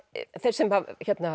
þeir sem